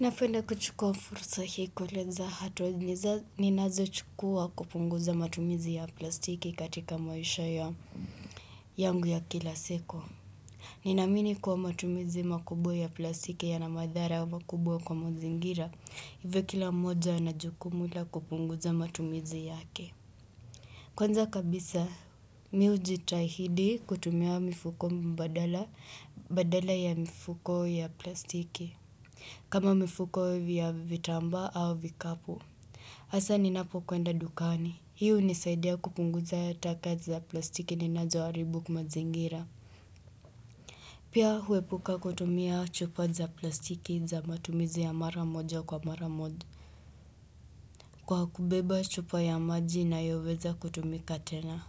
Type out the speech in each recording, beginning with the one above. Napwenda kuchukua fursa hii kueleza hatua ninazo chukua kupunguza matumizi ya plastiki katika maisha ya yangu ya kila siku. Ninaamini kuwa matumizi makubwa ya plastiki yana madhara wa makubwa kwa mazingira, hivyo kila moja ana jukumu la kupunguza matumizi yake. Kwanza kabisa mimi ujitahidi kutumia mifuko mbadala badala ya mifuko ya plastiki. Kama mifuko vya vitambaa au vikapu. Hasa ninapo kwenda dukani. Hiyo unisaidia kupunguza taka za plastiki ninazo haribu mazingira. Pia huepuka kutumia chupa za plastiki za matumizi ya mara moja kwa mara moja Kwa kubeba chupa ya maji inayoweza kutumika tena.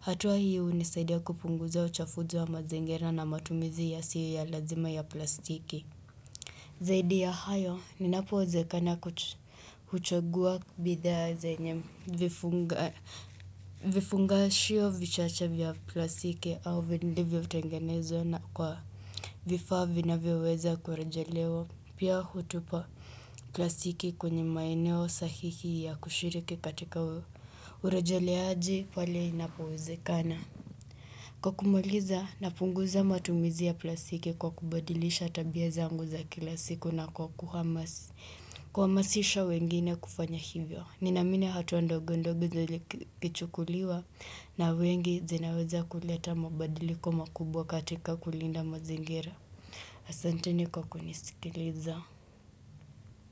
Hatua hii unisaidia kupunguza uchafuzi wa mazingira na matumizi yasiyo ya lazima ya plastiki Zaidi ya hayo ninapowezekana kuchagua bidhaa zenye vifunga vifungashio vichacha vya plasiki au vilivyotengenezwa na kwa vifaa vyinavyoweza kurejelewa pia hutupa plasiki kwenye maeneo sahihi ya kushiriki katika urejeleaji pale inapowezekana. Kwa kumuliza, napunguza matumizi ya plasiki kwa kubadilisha tabia zangu za kila siku na kwa kuhamasisha wengine kufanya hivyo. Ninamine hatua ndogo ndogo zikichukuliwa na wengi zinaweza kuleta mabadiliko makubwa katika kulinda mazingira. Asanteni kwa kunisikiliza.